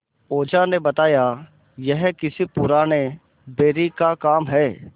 ओझा ने बताया यह किसी पुराने बैरी का काम है